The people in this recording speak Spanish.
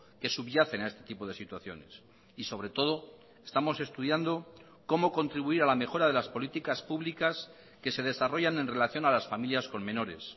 que subyacen a este tipo de situaciones y sobre todo estamos estudiando cómo contribuir a la mejora de las políticas públicas que se desarrollan en relación a las familias con menores